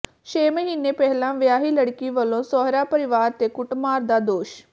ਛੇ ਮਹੀਨੇ ਪਹਿਲਾਂ ਵਿਆਹੀ ਲੜਕੀ ਵੱਲੋਂ ਸਹੁਰਾ ਪਰਿਵਾਰ ਤੇ ਕੁੱਟਮਾਰ ਦਾ ਦੋਸ਼